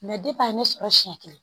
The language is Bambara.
depi a ye ne sɔrɔ siɲɛ kelen